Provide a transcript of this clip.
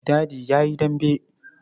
Dadi ya yi dambe.